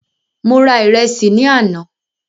Mo ra ìrẹsì ní àná